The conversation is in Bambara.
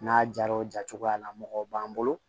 N'a jara o ja cogoya la mɔgɔ b'an bolo